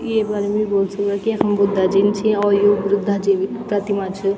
येफर भी बोल सकदा की यखम बुद्धा जिन छी और यु ब्रुद्धा जी भी प्रतिमा च।